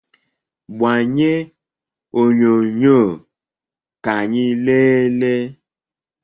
Gbanye onyonyo ka anyị leele!